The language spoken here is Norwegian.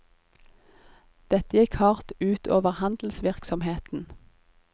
Dette gikk hardt ut over handelsvirksomheten.